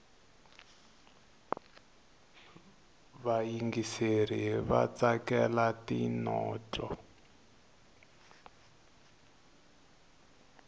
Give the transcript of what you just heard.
vayingiseri vatsakela tinotlo